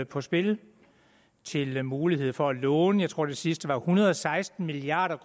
på spil til mulighed for at låne jeg tror det sidste var en hundrede og seksten milliard